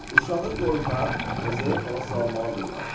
Uşağı qorxaq və zəif hala salmalıdırlar.